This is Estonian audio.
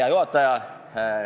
Hea juhataja!